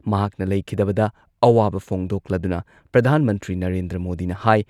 ꯃꯍꯥꯛꯅ ꯂꯩꯈꯤꯗꯕꯗ ꯑꯋꯥꯕ ꯐꯣꯡꯗꯣꯛꯂꯗꯨꯅ ꯄ꯭ꯔꯙꯥꯟ ꯃꯟꯇ꯭ꯔꯤ ꯅꯔꯦꯟꯗ꯭ꯔ ꯃꯣꯗꯤꯅ ꯍꯥꯏ